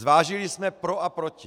Zvážili jsme pro a proti.